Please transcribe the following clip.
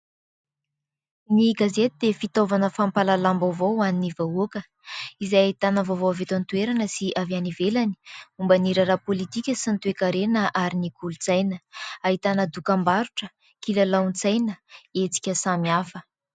Ny gazety dia fitaovana fampalalana vaovao hoan'ny vahoaka. Izay ahitana vaovao avy eto antoerana sy avy any ivelany. Momban'ny raharaha politika sy toe-karena ary ny kolontsaina. Ahitana dokam-barotra, kilalaon-tsaina, etsika samy hafa.